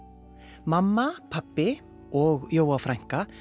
mamma pabbi og Jóa frænka